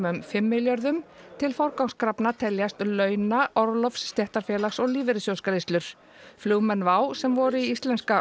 um fimm milljörðum til forgangskrafna teljast launa orlofs stéttarfélags og lífeyrissjóðsgreiðslur flugmenn WOW sem voru í Íslenska